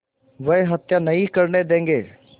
वह हत्या नहीं करने देंगे